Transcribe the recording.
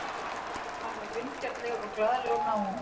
Hann var vingjarnlegur og glaðlegur náungi.